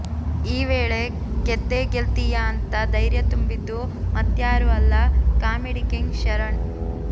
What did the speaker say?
ಈ ವೇಳೆ ಗೆದ್ದೇ ಗೆಲ್ತೀಯಾ ಅಂತ ದೈರ್ಯ ತುಂಬಿದ್ದು ಮತ್ಯಾರೂ ಅಲ್ಲ ಕಾಮಿಡಿ ಕಿಂಗ್ ಶರಣ್